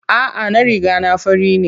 A'a, na riga na fara jiri.